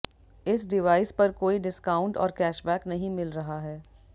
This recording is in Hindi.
इस डिवाइस पर कोई डिस्काउंट और कैशबैक नहीं मिल रहा है